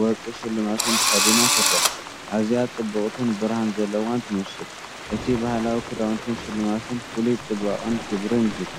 ወርቂ ሽልማትን ተኸዲና ትረአ። ኣዝያ ጽብቕትን ብርሃን ዘለዋን ትመስል። እቲ ባህላዊ ክዳውንትን ሽልማትን ፍሉይ ጽባቐን ክብርን ይህባ።